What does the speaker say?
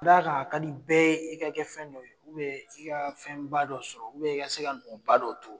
Ka da kan a ka di bɛɛ ye, e ka kɛ fɛn dɔ ye, i ka fɛn ba dɔ sɔrɔ i ka se ka nɔba dɔ turu.